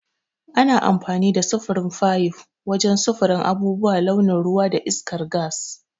Ana amfani da sufurin fayif wajen sufurin abubuwan launin ruwa da iskar gas.